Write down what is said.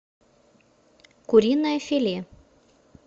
куриное филе